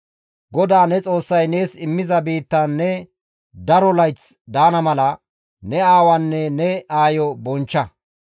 «GODAA ne Xoossay nees immiza biittan ne daro layth daana mala, ne aawaanne ne aayo bonchcha.